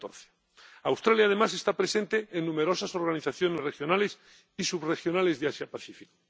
en 2014. Australia, además, está presente en numerosas organizaciones regionales y subregionales de Asia Pacífico.